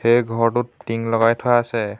এই ঘৰটোত টিং লগাই থোৱা আছে।